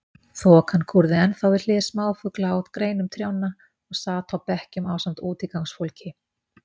Þokan kúrði ennþá við hlið smáfugla á greinum trjánna og sat á bekkjum ásamt útigangsfólki.